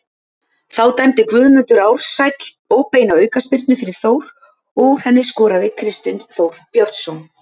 Þá dæmdi Guðmundur Ársæll óbeina aukaspyrnu fyrir Þór og úr henni skoraði Kristinn Þór Björnsson.